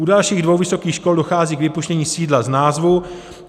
U dalších dvou vysokých škol dochází k vypuštění sídla z názvu.